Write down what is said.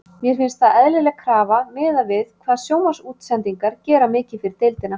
Mér finnst það eðlileg krafa miðað við hvað sjónvarpsútsendingar gera mikið fyrir deildina.